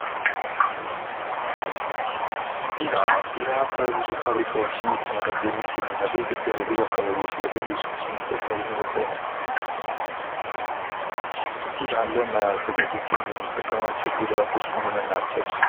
ቢራ ቢራ በብዙ ፋብሪካዎች እየተመረተ የሚገኝ እና በብዙ አካባቢዎች ላይ በብዙ ሰዎች የሚጠጣ ነው። ቢራን ለማዘጋጀት የምንጠቀማቸው ግብአቶች ምን ምን ናቸው?